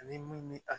Ani mun ni a